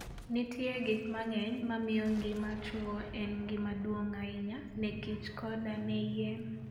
Nitie gik mang'eny mamiyo ngima chuo en gima duong' ahinya neKichkoda ne yien.